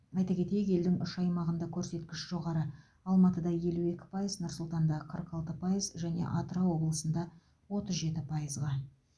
айта кетейік елдің үш аймағында көрсеткіш жоғары алматыда елу екі пайыз нұр сұлтанда қырық алты пайыз және атырау облысында отыз жеті пайызға